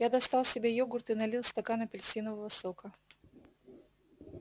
я достал себе йогурт и налил стакан апельсинового сока